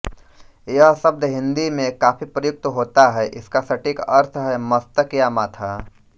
यह शब्द हिंदी में काफी प्रयुक्त होता है इसका सटीक अर्थ है मस्तक या माथा